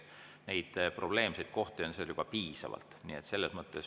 Neid probleemseid kohti on seal piisavalt.